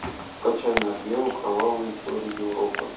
скачай нат гео кровавые истории европы